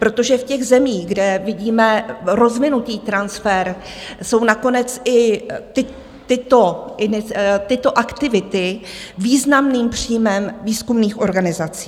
Protože v těch zemích, kde vidíme rozvinutý transfer, jsou nakonec i tyto aktivity významným příjmem výzkumných organizací.